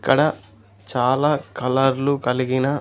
ఇక్కడ చాలా కలర్లు కలిగిన--